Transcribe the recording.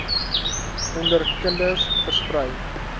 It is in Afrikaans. onder kinders versprei